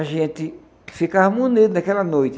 A gente ficava naquela noite.